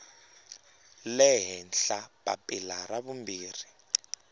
le henhla papila ra vumbirhi